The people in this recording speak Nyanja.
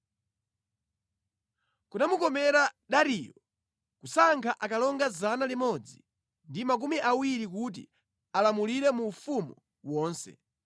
Kunamukomera Dariyo kusankha akalonga 120 kuti alamulire mu ufumu wonse,